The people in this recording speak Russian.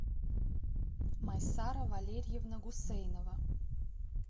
майсара валерьевна гусейнова